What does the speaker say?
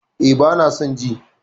E, bana son ji